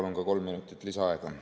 Palun ka kolm minutit lisaaega!